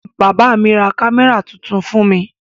Bàbá mi ra kámẹ́rà tuntun fún mi